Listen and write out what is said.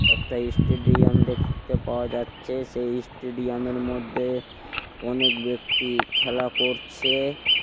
একটা স্টেডিয়াম দেখতে পাওয়া যাচ্ছে. সেই স্টেডিয়ামের মধ্যে অনেক ব্যক্তি খেলা করছে ।